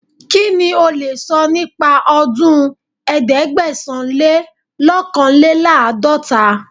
Kí ni o lè sọ nípa ọdún ẹ̀ẹ́dẹ́gbẹ̀sán-le-lọ́kànléláàdọ́ta?